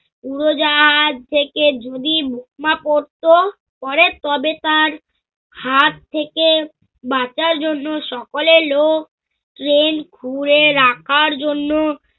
উড়োজাহাজ থেকে যদি বোমা পরত, পরে তবে তার হাত থেকে বাচার জন্য সকলে এলো drain খুঁড়ে রাখার জন্য